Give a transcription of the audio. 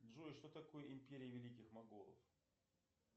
джой что такое империя великих монголов